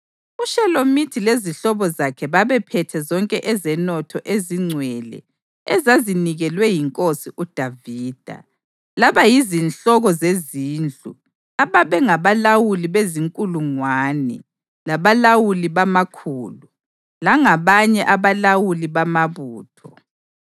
(UShelomithi lezihlobo zakhe babephethe zonke ezenotho ezingcwele ezazinikelwe yinkosi uDavida, labayizinhloko zezindlu ababengabalawuli bezinkulungwane labalawuli bamakhulu, langabanye abalawuli bamabutho.